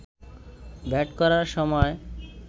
bat করার সময়